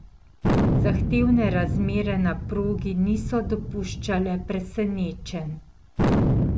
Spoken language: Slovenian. Zahtevne razmere na progi niso dopuščale presenečenj.